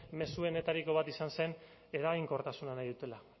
mezuenetariko bat izan zen eraginkortasuna nahi dutela